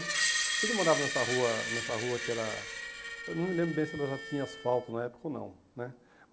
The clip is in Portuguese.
A gente morava nessa rua nessa rua que era... eu não me lembro bem se ela já tinha asfalto na época ou não, né?